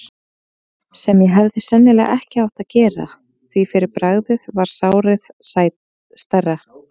sem ég hefði sennilega ekki átt að gera, því fyrir bragðið varð sárið stærra.